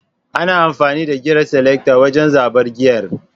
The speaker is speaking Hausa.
ana amfani da giyer selector wajen zaɓar giyer